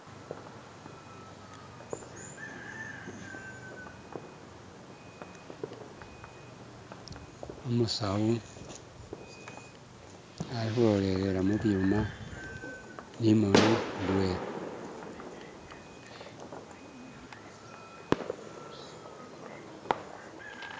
Umusawu alikhulolelela mubwuuma nimoni idwena